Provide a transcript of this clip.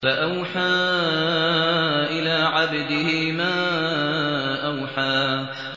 فَأَوْحَىٰ إِلَىٰ عَبْدِهِ مَا أَوْحَىٰ